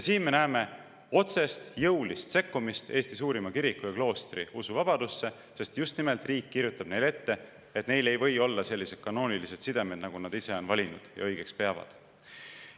Siin me näeme otsest jõulist sekkumist Eesti suurima kiriku ja kloostri usuvabadusse, sest just nimelt riik kirjutab neile ette, et neil ei või olla selliseid kanoonilisi sidemeid, nagu nad ise on valinud ja õigeks peavad.